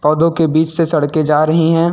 पौधों के बीच से सड़कें जा रही हैं।